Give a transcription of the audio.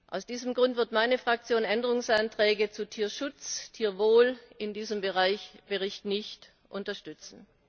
Aus diesem Grund wird meine Fraktion Änderungsanträge zu Tierschutz, Tierwohl in diesem Bericht nicht unterstützen.